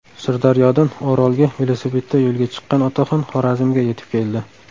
Sirdaryodan Orolga velosipedda yo‘lga chiqqan otaxon Xorazmga yetib keldi.